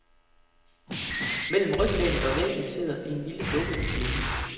Mellem ryglænet og væggen sidder en lille dukke i klemme.